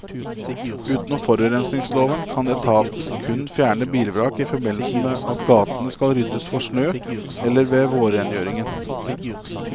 Utenom forurensningsloven kan etaten kun fjerne bilvrak i forbindelse med at gatene skal ryddes for snø eller ved vårrengjøringen.